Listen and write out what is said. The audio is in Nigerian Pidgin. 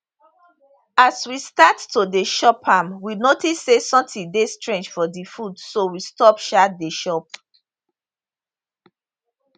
as we start to dey chop am we notice say sometin dey strange for di food so we stop um dey chop